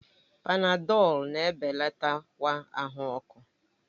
Panadọlu na-ebelatakwa ahụ ọkụ